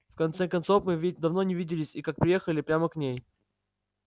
в конце концов мы ведь давно не виделись и как приехали прямо к ней